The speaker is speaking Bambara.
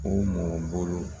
O mɔgɔ bolo